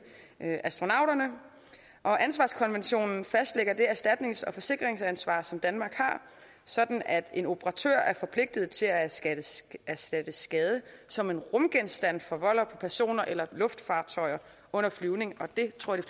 astronauterne og ansvarskonventionen fastlægger det erstatnings og forsikringsansvar som danmark har sådan at en operatør er forpligtet til at erstatte skade som en rumgenstand forvolder på personer eller luftfartøjer under flyvning og det tror jeg